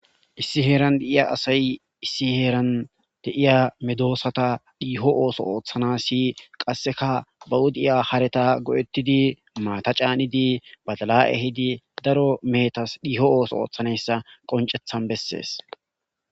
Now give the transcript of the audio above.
Issi heeran deiya asay issi heeran deiya medoosata dhiiho ooso ooththana si qasseka ba udiya hareta go7ettidi maata caanidi badala7e hidi daro meetas dhiiho ooso ooththanayssa qoncethan bessees